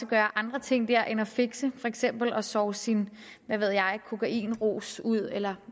gøre andre ting der end at fixe for eksempel sove sin kokainrus ud eller